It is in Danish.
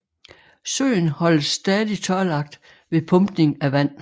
Søen holdes stadig tørlagt ved pumpning af vand